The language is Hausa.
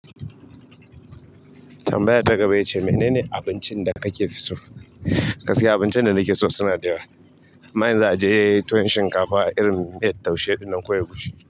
Tambayar ta gaba ya ce mene ne abincin da kake fi so? Gaskiya abincin da nike so suna da yawa. Amma in za a je tuwon shinkafa irin miya taushe ɗinnan ko egushi,